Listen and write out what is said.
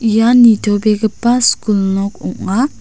ian nitobegipa skul nok ong·a.